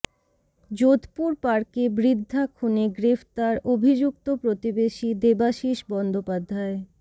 যোধপুর পার্কে বৃদ্ধা খুনে গ্রেফতার অভিযুক্ত প্রতিবেশী দেবাশিস বন্দ্যোপাধ্যায়